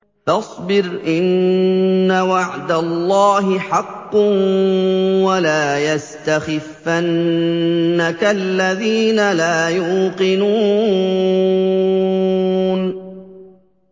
فَاصْبِرْ إِنَّ وَعْدَ اللَّهِ حَقٌّ ۖ وَلَا يَسْتَخِفَّنَّكَ الَّذِينَ لَا يُوقِنُونَ